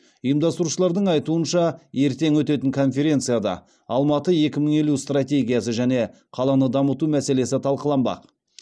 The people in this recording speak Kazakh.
ұйымдастырушылардың айтуынша ертең өтетін конференцияда алматы екі мың елу стратегиясы және қаланы дамыту мәселесі талқыланбақ